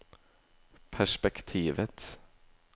P E R S P E K T I V E T